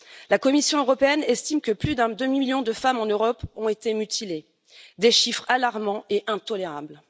La Commission européenne estime que plus d'un demi million de femmes en Europe ont été mutilées, des chiffres alarmants et intolérables.